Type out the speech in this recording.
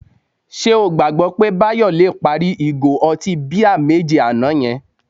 Ṣé o gbàgbọ́ pé Báyọ̀ le parí ìgò ọtí bíà méje àná yẹn?